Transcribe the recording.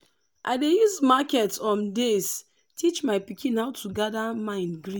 i dey use market um days teach my pikin how to gather mind greet